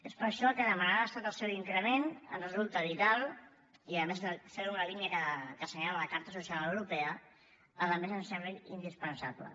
és per això que demanar a l’estat el seu increment ens resulta vital i a més fer ho en la línia que assenyala la carta social europea ens sembla indispensable